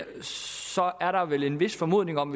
så er der vel en vis formodning om